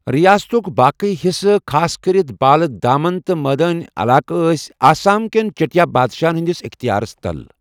رِیاستُک باقی حِصہٕ ، خاص کٔرِتھ بالہٕ دامن تہٕ مٲدٲنی عَلاقہٕ ٲسۍ آسام کٮ۪ن چَٹیا بادشاہَن ہِنٛدِس اِختِیارَس تل ۔